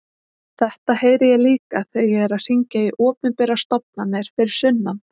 Þetta heyri ég líka þegar ég er að hringja í opinberar stofnanir fyrir sunnan.